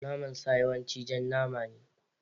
Naman sa yawanci jan nama ne.